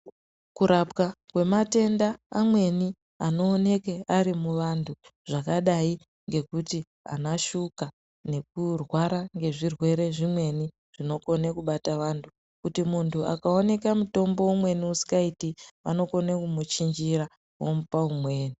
Kurapwa kwematenda amweni anonoke ari muvantu zvakadai ngokuti anashuka nokurwara ngezvirwere zvimweni zvinokone kubata vantu. Kuti muntu akaoneka mutombo umweni usikaiti vanokone kumuchinjira vomupa umweni.